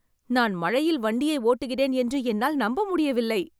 நான் மழையில் வண்டியை ஓட்டுகிறேன் என்று என்னால் நம்ப முடியவில்லை